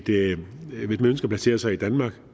placere sig i danmark